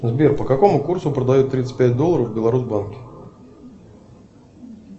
сбер по какому курсу продают тридцать пять долларов в беларусбанке